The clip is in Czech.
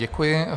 Děkuji.